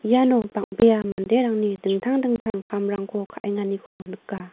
iano bang·bea manderangni dingtang dingtang kamrangko ka·enganiko nika.